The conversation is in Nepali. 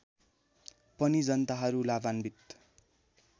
पनि जनताहरू लाभान्वित